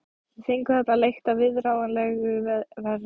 Við fengum þarna leigt á viðráðanlegu verði.